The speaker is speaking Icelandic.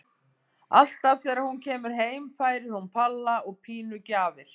Alltaf þegar hún kemur heim færir hún Palla og Pínu gjafir.